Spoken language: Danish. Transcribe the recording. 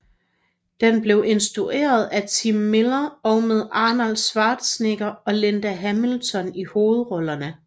Den blev instrueret af Tim Miller og med Arnold Schwarzenegger og Linda Hamilton i hovedrollerne